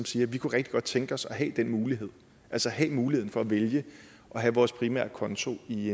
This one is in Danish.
siger vi kunne rigtig godt tænke os at have den mulighed altså have muligheden for at vælge at have vores primære konto i